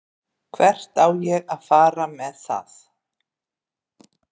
Hvert á ég að fara með það?